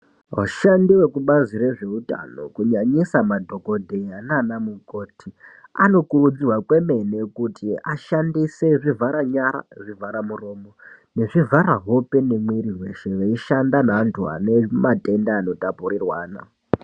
Vashandi vekubazi rezve Utano, kunyanyisa madhokodheya nanamukoti anokurudzirwa kwemene kuti ashandise zvivhara nyara, zvivhara muromo ,nezvivhara hope nemwiriweshe veishanda naanhu vane matenda anota purirwana.